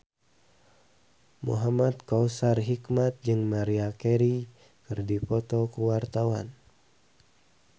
Muhamad Kautsar Hikmat jeung Maria Carey keur dipoto ku wartawan